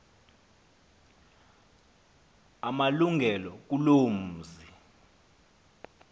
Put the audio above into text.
amalungelo kuloo mzi